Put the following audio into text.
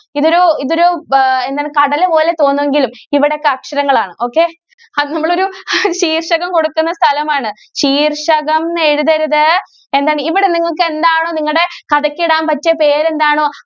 ഇതൊരു ഇതൊരു ബ എന്താണ് കടല് പോലെ തോന്നുവെങ്കിലും ഇവിടൊക്കെ അക്ഷരങ്ങളാണ്. okay അത് നമ്മളൊരു ശീര്‍ഷകം കൊടുക്കുന്ന സ്ഥലമാണ്. ശീര്‍ഷകംന്ന് എഴുതരുത്. എന്താണ്? ഇവിടെ നിങ്ങള്‍ക്ക് എന്താണോ, നിങ്ങടെ കഥയ്ക്ക്‌ ഇടാന്‍ പറ്റിയ പേരെന്താണോ,